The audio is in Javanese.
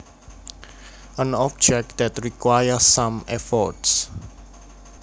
An object that requires some effort